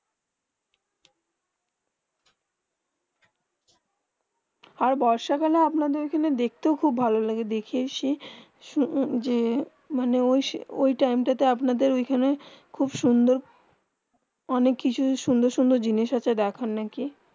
আর বর্ষাকালে আপনার ওই দিকে দেখতে খুব ভালো লাগে দেখে এসেছি শুনো যে ওই টাইম তা তো আপনাদের ওখানে খুব সুন্দর অনেক অনেক খুব সুন্দর জিনিস হয়ে দেখানে না কি